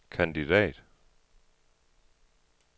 kandidat